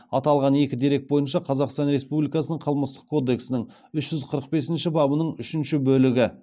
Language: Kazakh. аталған екі дерек бойынша қазақстан республикасының қылмыстық кодексінің үш жүз қырық бесінші бабының үшінші бөлігі